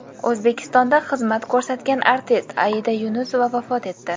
O‘zbekistonda xizmat ko‘rsatgan artist Aida Yunusova vafot etdi.